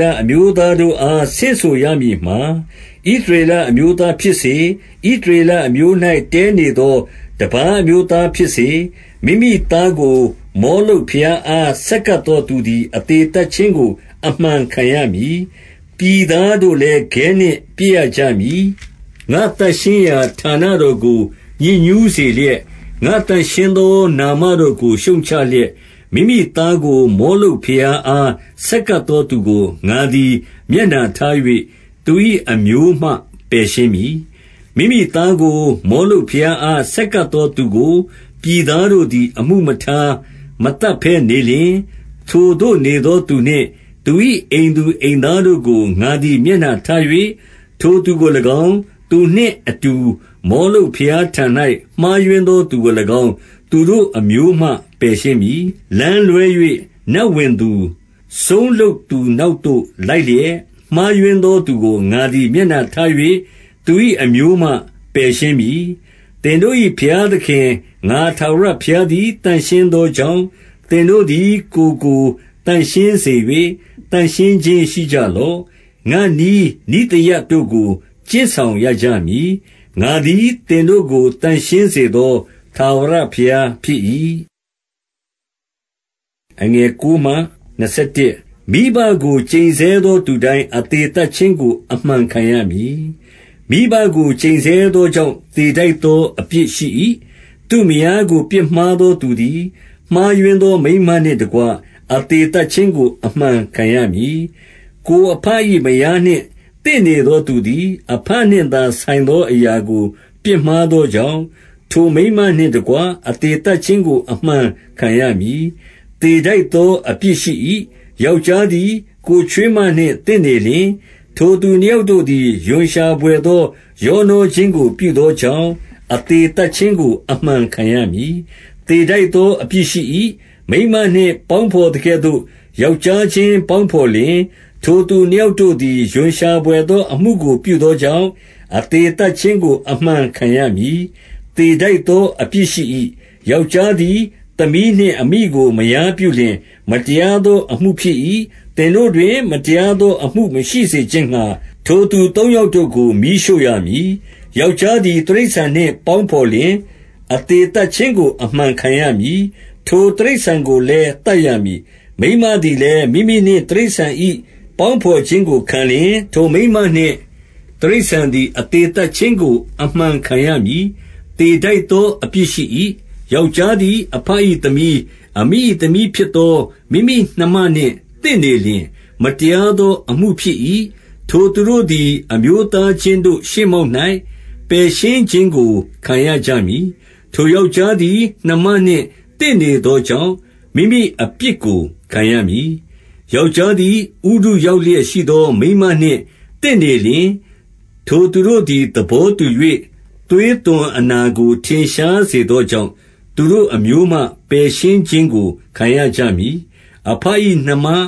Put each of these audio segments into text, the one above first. လအမျိုးသားတို့အား ဆင့်ဆိုရမည်မှာ၊- 2 ဣသရေလအမျိုးသားဖြစ်စေ၊ ဣသရေလအမျိုး၌ တည်းနေသော တပါးအမျိုးသားဖြစ်စေ၊ မိမိသားကို မောလုတ်ဘုရားအား ဆက်ကပ်သောသူသည် အသေသတ်ခြင်းကို အမှန်ခံရမည်။ ပြည်သားတို့လည်း ခဲနှင့် ပစ်ရကြမည်။ 3 ငါ့သန့်ရှင်းရာဌာနတော်ကို ညစ်ညူးစေလျက်၊ ငါ့သန့်ရှင်းသော နာမတော်ကို ရှုတ်ချလျက်၊ မိမိ သားကို မောလုတ်ဘုရားအား ဆက်ကပ်သောသူကို၊ ငါသည် မျက်နှာထား၍ သူ၏ အမျိုးမှ ပယ်ရှင်းမည်။ 4 မိမိသားကို မောလုတ်ဘုရားအား ဆက်ကပ်သော သူကို ပြည်သားတို့သည် အမှုမထား မသတ်ဘဲ နေလျှင်၊- 5 ထိုသို့ နေသောသူနှင့် သူ၏ အိမ်သူအိမ်သားတို့ကို ငါသည် မျက်နှာထား၍ ထိုသူကို၎င်း၊ သူနှင့်အတူ မောလုတ်ဘုရားထံ၍ မှားယွင်းသောသူကို၎င်း၊ သူတို့အမျိုးမှ ပယ်ရှင်းမည်။ 6 လမ်းလွဲ၍ နတ်ဝင်သူ၊ စုန်းလုပ်သူနောက်သို့ လိုက်လျက်၊ မှားယွင်းသောသူကို ငါသည် မျက်နှာထား၍ သူ၏ အမျိုးမှ ပယ်ရှင်းမည်။ 7 သင်တို့၏ ဘုရားသခင် ငါထာဝရဘုရားသည် သန့်ရှင်းသောကြောင့်၊ သင်တို့သည် ကိုယ်ကိုသန့်ရှင်း စေ၍၊ သန့်ရှင်းခြင်းရှိကြလော့။ 8 ငါ့နည်းနိဿယတို့ကို ကျင့်ဆောင်ရကြမည်။ ငါသည် သင်တို့ကို သန့်ရှင်းစေသော ထာဝရဘုရား ဖြစ်၏။ 9 မိဘကို ကျိန်ဆဲသောသူတိုင်း အသေသတ်ခြင်းကို အမှန်ခံရမည်။ မိဘကို ကျိန်ဆဲသောကြောင့် သေထိုက်သော အပြစ်ရှိ၏။ 10 သူ့မယားကို ပြစ်မှားသောသူသည် မှားယွင်းသော မိန်းမနှင့်တကွ အသေသတ်ခြင်းကို အမှန်ခံရမည်။ 11 ကိုယ်အဘ၏ မယားနှင့်သင့်နေသောသူသည် အဘနှင့်သာဆိုင်သောအရာကို ပြစ်မှားသောကြောင့်၊ ထိုမိန်းမနှင့်တကွ အသေသတ်ခြင်းကို အမှန်ခံရမည်။ သေထိုက်သော အပြစ်ရှိ၏။ 12 ယောက်ျားသည် ကိုယ်ချွေးမနှင့် သင့်နေလျှင်၊ ထိုသူနှစ်ယောက်တို့သည် ရွံရှာဘွယ်သော ရောနှောခြင်း ကို ပြုသောကြောင့် အသေသတ်ခြင်းကို အမှန်ခံရမည်။ သေထိုက်သော အပြစ်ရှိ၏။ 13 မိန်းမနှင့်ပေါင်းဘော်သကဲ့သို့ ယောက်ျားခြင်းပေါင်းဘော်လျှင် ထိုသူနှစ်ယောက်တို့သည်၊ ရွံရှာဘွယ် သောအမှုကို ပြုသောကြောင့်၊ အသေသတ်ခြင်းကို အမှန်ခံရမည်။ သေထိုက်သော အပြစ်ရှိ၏။ 14 ယောက်ျားသည် သမီးနှင့်အမိကို မယားပြုလျှင်၊ မတရားသောအမှုဖြစ်၏။ သင်တို့တွင် မတရားသော အမှုမရှိစေခြင်းငှါ၊ ထိုသူသုံးယောက်တို့ကို မီးရှို့ရမည်။ 15 ယောက်ျားသည် တိရစ္ဆာန်နှင့် ပေါင်းဘော်လျှင် အသေသတ်ခြင်းကို အမှန်ခံရမည်။ ထိုတိရစ္ဆာန်ကို လည်း သတ်ရမည်။ 16 မိန်းမသည်လည်း၊ မိမိနှင့်တိရစ္ဆာန်၏ ပေါင်းဘော်ခြင်းကိုခံလျှင်၊ ထိုမိန်းမနှင့် တိရစ္ဆာန်သည် အသေသတ်ခြင်းကို အမှန်ခံရမည်။ သေထိုက်သော အပြစ်ရှိ၏။ 17 ယောက်ျားသည် အဘ၏သမီး၊ အမိ၏သမီးဖြစ်သော မိမိနှမနှင့်သင့်နေလျှင်၊ မတရားသော အမှုဖြစ်၏။ ထိုသူတို့သည် အမျိုးသားချင်းတို့ ရှေ့မှောက်၌ ပယ်ရှင်းခြင်းကို ခံရကြမည်။ ထိုယောက်ျား သည် နှမနှင့်သင့်နေသောကြောင့်၊ မိမိအပြစ်ကို ခံရမည်။ 18 ယောက်ျားသည် ဥတုရောက်လျက်ရှိသော မိန်းမနှင့်သင့်နေလျှင်၊ ထိုသူတို့သည် သဘောတူ၍ သွေး သွန်အနာကို ထင်ရှားစေသောကြောင့်၊ သူတို့အမျိုးမှ ပယ်ရှင်းခြင်းကို ခံရကြမည်။ 19 အဘ၏နှမ၊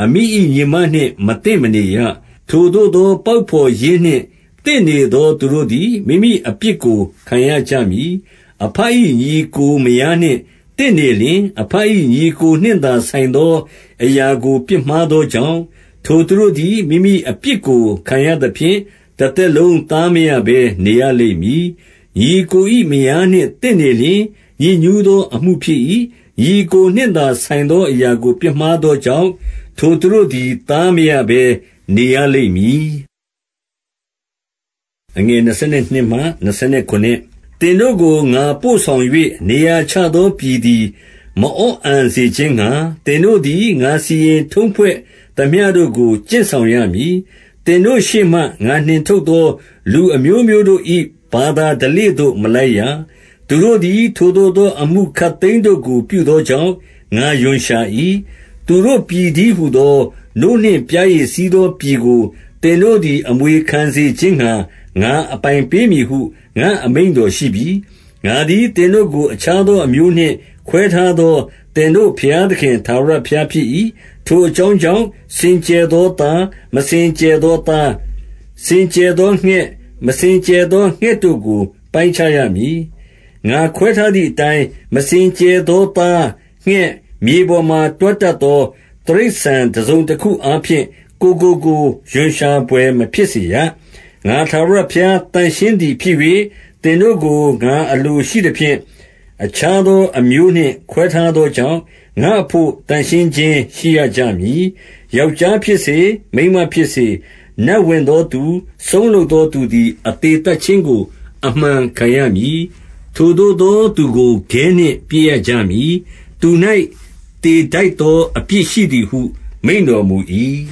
အမိ၏ညီမနှင့်မသင့်မနေရ။ ထိုသို့သော ပေါက်ဘော်ရင်းနှင့် သင့်နေသောသူတို့သည် မိမိအပြစ်ကို ခံရကြမည်။ 20 အဘ၏ ညီအစ်ကိုမယားနှင့် သင့်နေလျှင်၊ အဘ၏ ညီအစ်ကိုနှင့်သာဆိုင်သော အရာကို ပြစ်မှား သောကြောင့်၊ ထိုသူတို့သည် မိမိအပြစ်ကိုခံရသဖြင့်၊ တသက်လုံးသားမရဘဲ နေရလိမ့်မည်။ 21 ညီအစ်ကို၏ မယားနှင့် သင့်နေလျှင် ညစ်ညူးသောအမှုဖြစ်၏။ ညီအစ်ကိုနှင့်သာ ဆိုင်သောအရာ ကိုပြစ်မှားသောကြောင့် ထိုသူတို့သည် သားမရဘဲနေရလိမ့်မည်။ 22 သင်တို့ကို ငါ ပို့ဆောင်၍ နေရာချသော ပြည်သည် မအော့အန်စေခြင်းငှါ၊ သင်တို့သည် ငါစီရင် ထုံးဖွဲ့သမျှတို့ကို ကျင့်ဆောင်ရမည်။ 23 သင်တို့ရှေ့မှ ငါနှင်ထုတ်သော လူအမျိုးမျိုးတို့၏ ဘာသာဓလေ့သို့ မလိုက်ရ။ သူတို့သည် ထိုသို့သော အမှုခပ်သိမ်းတို့ကို ပြုသောကြောင့် ငါရွံရှာ၏။ 24 သူတို့ပြည်တည်းဟူသော နို့နှင့်ပျားရည်စီးသောပြည်ကို သင်တို့သည် အမွေခံစေခြင်းငှါ ငါအပိုင်ပေး မည်ဟု ငါ့အမိန့်တော်ရှိပြီ။ ငါသည် သင်တို့ကို အခြားသော အမျိုးနှင့်ခွဲထားသော သင်တို့ဘုရားသခင် ထာဝရဘုရားဖြစ်၏။ 25 ထိုအကြောင်းကြောင့်၊ စင်ကြယ်သောသား၊ မစင်ကြယ်သောသား၊ စင်ကြယ်သောငှက်၊ မစင်ကြယ် သောငှက်တို့ကို ပိုင်းခြားရမည်။ ငါခွဲထားသည်အတိုင်း၊ မစင်ကြယ်သောသား၊ ငှက်၊ မြေပေါ်မှာ တွားတတ်သော တိရစ္ဆာန်တစုံတခုအားဖြင့် ကိုယ်ကိုကိုယ် ရွံရှာဘွယ် မဖြစ်စေရ။ 26 ငါထာဝရဘုရား သန့်ရှင်းသည်ဖြစ်၍၊ သင်တို့ကို ငါအလိုရှိသဖြင့်၊ အခြားသော အမျိုးနှင့် ခွဲထားသောကြောင့်၊ ငါ့အဘို့ သန့်ရှင်းခြင်းရှိရကြမည်။ 27 ယောက်ျားဖြစ်စေ၊ မိန်းမဖြစ်စေ၊ နတ်ဝင်သောသူ၊ စုန်းလုပ်သောသူသည် အသေသတ်ခြင်းကို အမှန်ခံရမည်။ ထိုသို့သောသူကို ခဲနှင့်ပစ်ရကြမည်။ သူ၌ သေထိုက်သော အပြစ်ရှိသည်ဟု မိန့်တော်မူ၏။